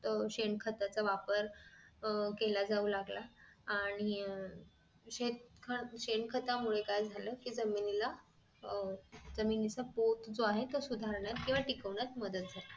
शेण खताचा वापर अह केला जाऊ लागला आणि शेण खतामुळे काय झालं कि जमिनीला अह जमिनीचा पोत जो आहे सुधारण्यात ठिकविण्यास मदत झाली